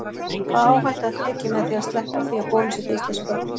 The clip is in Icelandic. Hvaða áhætta er tekin með því að sleppa því að bólusetja íslensk börn?